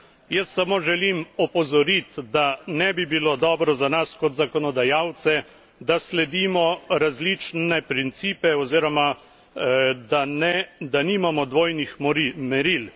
Jaz samo želim opozoriti, da ne bi bilo dobro za nas kot zakonodajalce, da sledimo različnim principom oziroma da nimamo dvojnih meril.